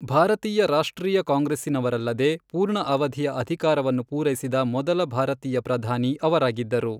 ಭಾರತೀಯ ರಾಷ್ಟ್ರೀಯ ಕಾಂಗ್ರೆಸ್ಸಿನವರಲ್ಲದೆ, ಪೂರ್ಣ ಅವಧಿಯ ಅಧಿಕಾರವನ್ನು ಪೂರೈಸಿದ ಮೊದಲ ಭಾರತೀಯ ಪ್ರಧಾನಿ ಅವರಾಗಿದ್ದರು.